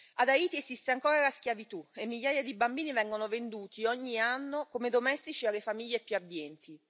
Ad Haiti esiste ancora la schiavitù e migliaia di bambini vengono venduti ogni anno come domestici alle famiglie più abbienti.